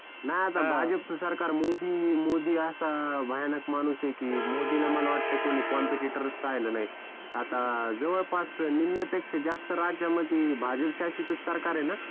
नाय आता भाजपच सरकार मोदी, मोदी असा भयानक माणूस आहे की मोदीला मला वाटतंय कि कोणी कंपेटिटोर च राहील नाही आता जवळपास निम्म्यापेक्षा जास्त्त राज्यामध्ये भाजप शासित सरकार आहे ना?